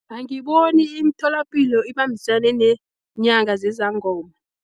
Angiboni imitholapilo ibambisane neenyanga nezangoma.